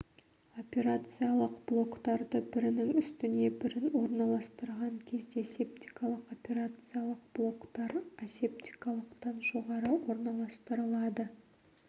операциялық блоктарды бірінің үстіне бірін орналастырған кезде септикалық операциялық блоктар асептикалықтан жоғары орналастырылады